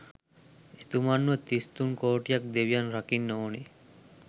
එතුමන්ව තිස් තුන් කෝටියක් දෙවියන් රකින්න ඕන